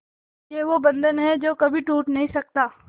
ये वो बंधन है जो कभी टूट नही सकता